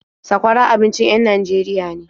Sakwara abincin en Najeriya ne.